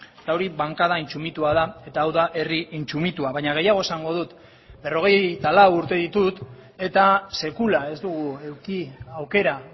eta hori bankada intsumitua da eta hau da herri intsumitua baina gehiago esango dut berrogeita lau urte ditut eta sekula ez dugu eduki aukera